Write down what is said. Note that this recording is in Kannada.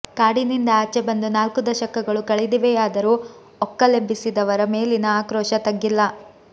ಕಾಡಿನಿಂದ ಆಚೆ ಬಂದು ನಾಲ್ಕು ದಶಕಗಳು ಕಳೆದಿವೆಯಾದರೂ ಒಕ್ಕಲೆಬ್ಬಿಸಿದವರ ಮೇಲಿನ ಆಕ್ರೋಶ ತಗ್ಗಿಲ್ಲ